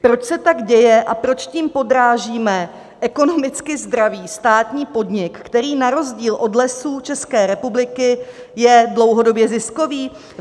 Proč se tak děje a proč tím podrážíme ekonomicky zdravý státní podnik, který na rozdíl od Lesů České republiky je dlouhodobě ziskový?